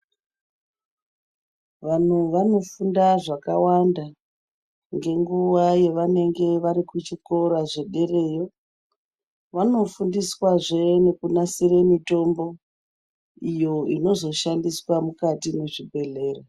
Vanhu vanofunda zvakawanda nenguwa pavanenge vari kuchikora chederayo vanofunda zve nekunasira mitombo iyo inozvishandiswa mukati mezvibhedhlera.